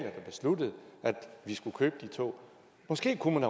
vi skulle købe de tog måske kunne man